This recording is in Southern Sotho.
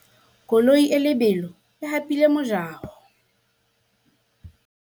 koloi e lebelo e hapile mojaho